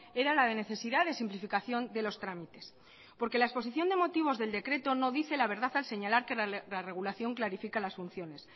era la de necesidad de simplificación de los trámites porque la exposición de motivos del ecreto no dice la verdad al señalar que la regulación clarifica las funciones